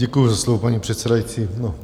Děkuju za slovo, paní předsedající.